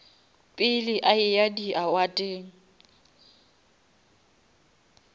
pele a eya di awardeng